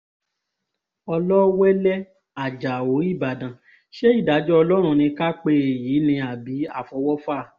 ọlọ́wẹ́lẹ́ ajáò ìbàdàn ṣe ìdájọ́ ọlọ́run ni ká pe èyí ni àbí àfọwọ́fà